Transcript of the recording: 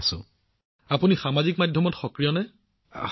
প্ৰধানমন্ত্ৰীঃ হয় তেন্তে আপুনি সামাজিক মাধ্যমত সক্ৰিয় নেকি